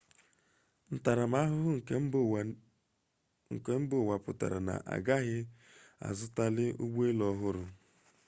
ntarama-ahuhu nke mba uwa putara na agaghi azutali ugbo-elu ohuru